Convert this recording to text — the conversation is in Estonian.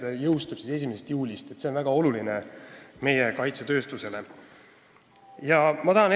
See jõustub siis 1. juulil, mis on meie kaitsetööstusele väga oluline.